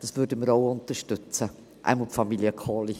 Dies würden wir auch unterstützen, jedenfalls die Familie Kohli.